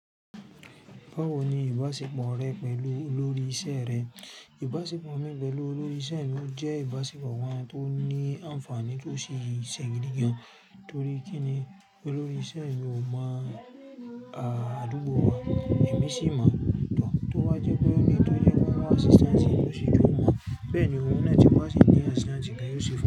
Báwo ni ìbáṣepọ̀ rẹ pẹ̀lú olórí iṣẹ́ rẹ? Ìbáṣepọ̀ mi pẹ̀lú olórí iṣẹ́ mi jẹ́ ìbáṣepọ̀ wá tó ní àǹfààní tó sì ṣẹ̀gidi. Nítorí kíni olórí iṣẹ́ mi o mo àdúgbò wà, èmi sì máa dùn-ún tó bá jẹ́ pé ó ní tó jẹ́ kó mú assistance, ó sì ju wà. Bẹ́ẹ̀ ni òun náà ti wá sí ń ní assistance bí ó ṣe fẹ́